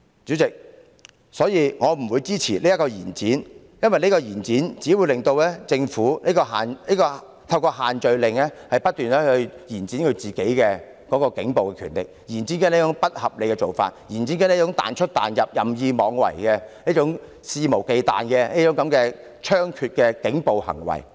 主席，我因此不會支持延展期限的決議案，因此舉只會令政府透過限聚令不斷延展警方的暴力，延展不合理的做法，延展"彈出彈入"、任意妄為、肆無忌憚的猖獗警暴行為。